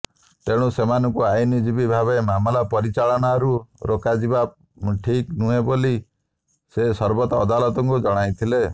ତେଣୁ ସେମାନଙ୍କୁ ଆଇନଜୀବୀ ଭାବେ ମାମଲା ପରିଚାଳନାରୁ ରୋକାଯିବା ଠିକ୍ ନୁହେଁ ବୋଲି ସେ ସର୍ବୋଚ୍ଚ ଅଦାଲତଙ୍କୁ ଜଣାଇଥିଲେ